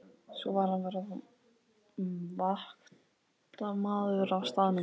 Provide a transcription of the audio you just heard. Svo varð að vera vaktmaður á staðnum.